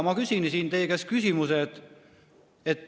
Ma küsisin siin teie käest küsimuse.